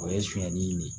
O ye sonyani nin ye